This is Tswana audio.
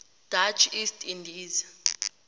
dutch east indies